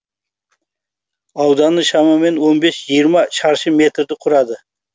ауданы шамамен он бес жиырма шаршы метрді құрады